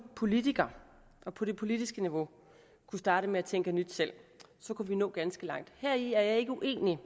politiker og på det politiske niveau kunne starte med at tænke nyt selv kunne vi nå ganske langt heri er jeg ikke uenig